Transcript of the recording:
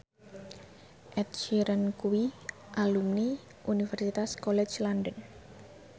Ed Sheeran kuwi alumni Universitas College London